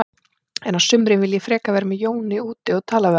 En á sumrin vil ég frekar vera með Jóni úti og tala við hann.